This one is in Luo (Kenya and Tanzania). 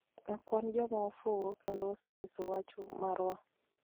Ok wan joma ofuwo, kendo wasenyiso wach marwa,